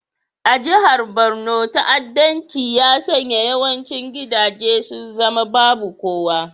A jihar Borno, ta'addanci ya sanya yawancin gidaje su zama babu kowa.